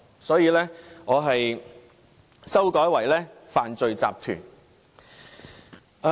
所以，我修改為"犯罪集團"。